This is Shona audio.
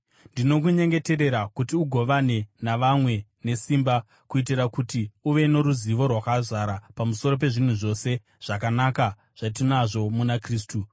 Ndinokunyengeterera kuti ugovane navamwe nesimba, kuitira kuti uve noruzivo rwakazara pamusoro pezvinhu zvose zvakanaka zvatinazvo muna Kristu.